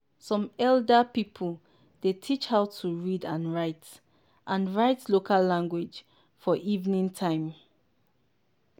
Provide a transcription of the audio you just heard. some elder pipo dey teach how to read and write and write local language for evening time.